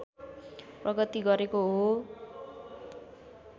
प्रगति गरेको हो